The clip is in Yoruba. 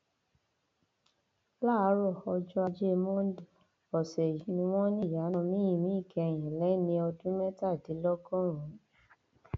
láàárọ ọjọ ajé monde ọsẹ yìí ni wọn ní ìyá náà mí ìmí ìkẹyìn lẹni ọdún mẹtàdínlọgọrùnún